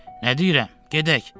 Nə deyirəm, gedək.